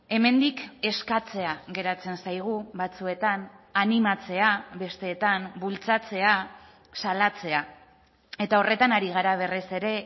hemendik eskatzea geratzen zaigu batzuetan animatzea besteetan bultzatzea salatzea eta horretan ari gara berriz ere